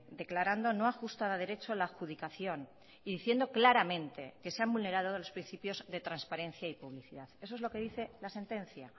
declarando no ajustada a derecho la adjudicación y diciendo claramente que se han vulnerado los principios de transparencia y publicidad eso es lo que dice la sentencia